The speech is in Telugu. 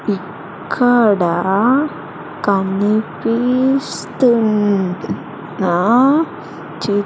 ఇక్కడ కనిపిస్తున్న చి--